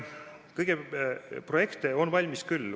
Aga projekte on valmis küll.